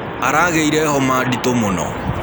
Aragĩĩre homa ndĩtũ mũno.